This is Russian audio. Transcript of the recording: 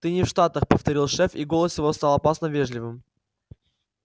ты не в штатах повторил шеф и голос его стал опасно вежливым